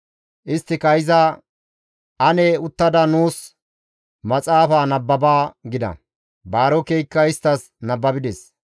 isttika iza, «Ane uttada nuus maxaafa nababa» gida. Baarokeykka isttas nababides.